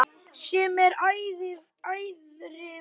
Sem er ærið verk.